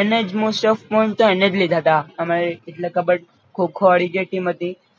એને જ most of તો એને જ લીધાતા અમારી એટલે કબ્બડ ખો ખો વાળી જે ટીમ હતી